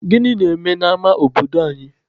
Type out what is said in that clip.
Gịnị na-eme n'ama obodo anyị?